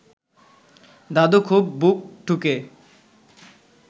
দাদু খুব বুক ঠুকে